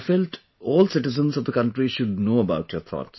I felt all citizens of the country should know about your thoughts